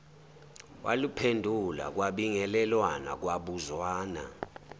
waluphendula kwabingelelwana kwabuzwana